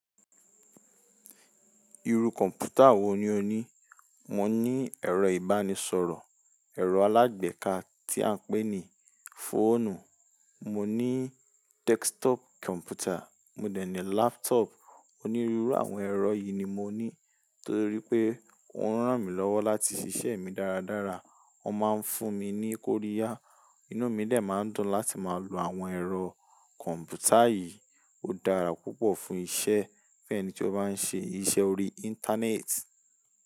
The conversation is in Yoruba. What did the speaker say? Iru kọ̀m̀pútà wo ni o ní? Mo ní ẹ̀rọ ìbánisọ̀rọ̀, ẹ̀rọ alágbèéká tí à ń pè ní fóònù, mo ní desktop kọ̀m̀pútà, mo dè ní laptop. Onírúurú àwọn ẹ̀rọ yìí ni mo ní, torí pé òun ràn mí lọ́wọ́ láti ṣiṣẹ́ mi dáradára. Wọ́n máa ń fún mi ní kóriya, inú mi dè máa ń dùn láti máa lo àwọn ẹ̀rọ kọ̀m̀pútà yìí. Ó dára púpọ̀ fún iṣẹ́, fun ẹni tí ó bá ń ṣe iṣẹ́ orí internet.